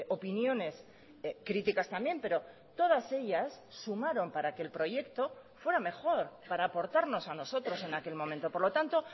opiniones críticas también pero todas ellas sumaron para que el proyecto fuera mejor para aportarnos a nosotros en aquel momento por lo tanto